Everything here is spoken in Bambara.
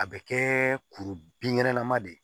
A bɛ kɛ kuru binkɛnɛlama de ye